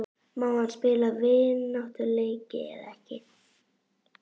Má hann spila vináttuleiki eða ekki?